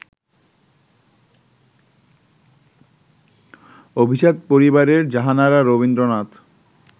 অভিজাত পরিবারের জাহানারা রবীন্দ্রনাথ